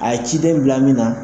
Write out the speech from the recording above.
A ye ciden bila min na